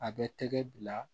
A bɛ tɛgɛ bila